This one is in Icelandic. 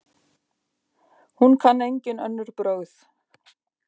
Hún kann engin önnur brögð.